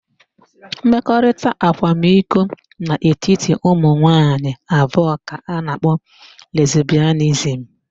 Mmekọrịta akwamiko n'etiti ụmụnwaanyị abụọ ka a na-akpọ lesbịanizim.